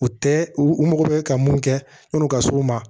U tɛ u mago bɛ ka mun kɛ yani u ka s'o ma